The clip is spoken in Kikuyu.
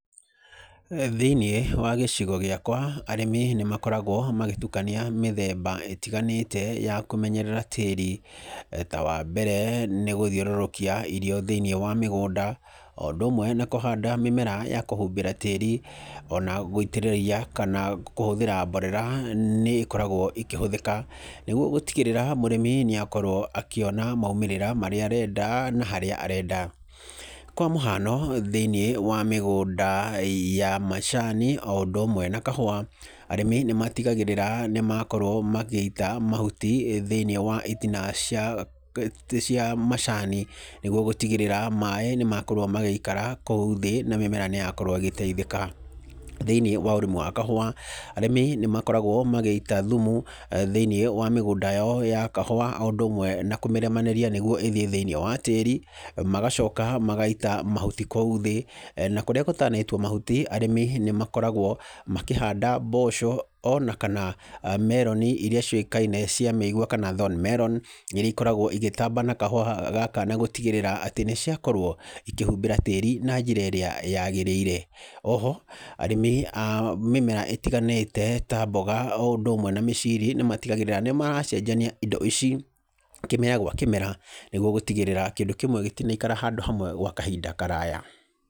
Thĩinĩ wa gĩcigo gĩakwa, arĩmi nĩ makoragwo magĩtukania mĩthemba ĩtgiganĩte ya kũmenyerera tĩri, ta wa mbere, nĩ gũthiũrũrũkia irio thĩiniĩ wa mĩgũnda, o ũndũ ũmwe na kũhanda mĩmera ya kũhumbĩra tĩri, ona gwĩitĩrĩria kana kũhũthĩra mborera nĩ ĩkoragwo ĩkĩhũthĩka nĩguo gũtigĩrĩra mũrĩmi nĩ akorwo akĩona maimĩrĩra marĩa arenda na harĩa arenda. Kwa mũhano thĩinĩ wa mĩgũnda ya macani o ũndũ ũmwe na kahũwa, arĩmi nĩ matigagĩrĩra nĩ makorwo magĩita mahuti thĩinĩ wa itina cia kĩ cia macani, nĩguo gũtigĩrĩra maĩ nĩ makorwo magĩikara kũu thĩ, na mĩmera nĩ yakorwo ĩgĩteithĩka, thĩinĩ wa ũrĩmi wa kahũwa, arĩmi nĩ makoragwo magĩita thumu, thĩinĩ wa mĩgũda yao ya kahũwa, o ũndũ ũmwe na kũmĩrĩmanĩria, nĩguo ĩthiĩ thĩinĩ wa tĩri, magacoka magaita mahuti kũu thĩ, na kũrĩa gũtanaitwo mahuti, arĩmi nĩ makoragwo makĩhanda mboco, ona kana meroni iria ciũĩkaine cia mĩigwa, kana thorn melon, iria ikoragwo ĩgĩtamba na kahũwa gakana gũtigĩrĩra atĩ nĩ ciakorwo ikĩhumbĩra tĩri na njĩra ĩrĩa yagĩrĩire, oho, arĩmi a mĩmera ĩtiganĩte, ta mboga, o ũndũ ũmwe na mĩciri nĩ matigagĩrĩra nĩ maracenjania indo ici, kĩmera gwa kĩmera, nĩguo gũtigĩrĩra kĩndũ kĩmwe gĩtinaikara handũ hamwe gwa kahinda karaya.